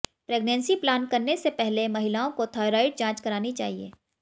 pregnancy plan करने से पहले महिलाओं को थायरॉइड जांच करानी चाहिए